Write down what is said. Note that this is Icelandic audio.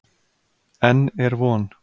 Enn er von.